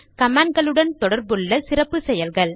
கமான்ட்களுடன் தொடர்புள்ள சிறப்பு செயல்கள்